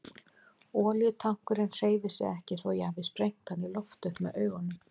Olíutankurinn hreyfir sig ekki þó ég hafi sprengt hann í loft upp með augunum.